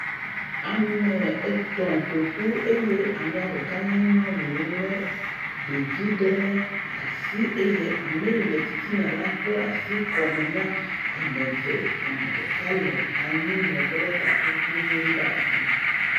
Ame etɔ̃ ƒo ƒu eye amea ɖeka nye nyɔnu lé ɖevi ɖe asi eye ame ye le titina la kpla asi kɔme na ame eve. Ame ɖeka le anyinɔƒe lé takuvi ɣi ɖe asi.